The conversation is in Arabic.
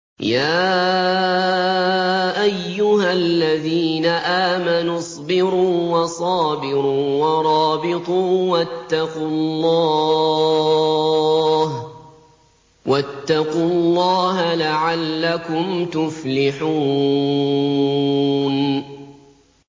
يَا أَيُّهَا الَّذِينَ آمَنُوا اصْبِرُوا وَصَابِرُوا وَرَابِطُوا وَاتَّقُوا اللَّهَ لَعَلَّكُمْ تُفْلِحُونَ